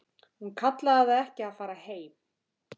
Hún kallaði það ekki að fara heim.